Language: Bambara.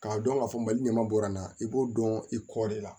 K'a dɔn k'a fɔ mali ɲɛma bɔra na i b'o dɔn i kɔ de la